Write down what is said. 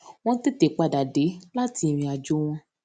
wón tètè padà dé láti ìrìn àjò wọn